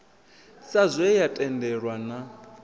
sa zwe ya tendelwa na